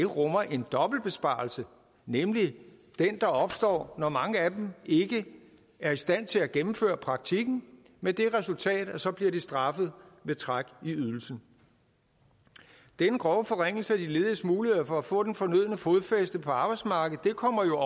rummer en dobbelt besparelse nemlig den der opstår når mange af dem ikke er i stand til at gennemføre praktikken med det resultat at så bliver de straffet ved træk i ydelsen denne grove forringelse af de lediges muligheder for at få det fornødne fodfæste på arbejdsmarkedet kommer jo